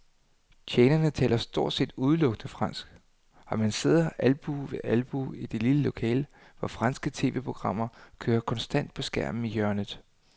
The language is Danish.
Tjenerne taler stort set udelukkende fransk, og man sidder albue ved albue i det lille lokale, hvor franske tv-programmer kører konstant på skærmen i hjørnet.